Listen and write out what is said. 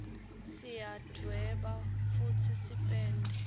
siyadweba futsi sipende